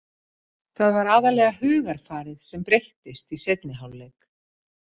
Það var aðallega hugarfarið sem breyttist í seinni hálfleik.